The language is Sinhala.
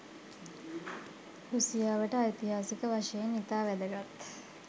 රුසියාවට ඓතිහාසික වශයෙන් ඉතා වැදගත්